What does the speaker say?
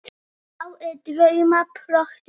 Þá er drauma þrotin stund.